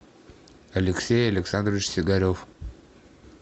алексей александрович сигарев